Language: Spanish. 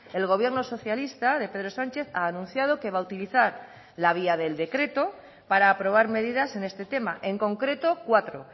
el gobierno socialista de pedro sánchez ha anunciado que va a utilizar la vía del decreto para aprobar medidas en este tema en concreto cuatro